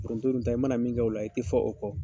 Foronto dun ta ye i mana min kɛ o la i tɛ fɔ o kɔ.